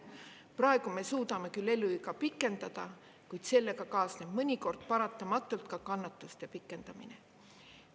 Praegu me suudame küll eluiga pikendada, kuid sellega kaasneb mõnikord paratamatult ka kannatuste pikendamine.